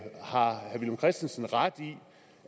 har herre villum christensen ret i